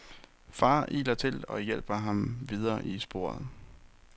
Far iler til og hjælper ham videre i sporet.